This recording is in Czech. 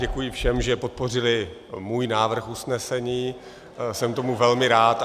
Děkuji všem, že podpořili můj návrh usnesení, jsem tomu velmi rád.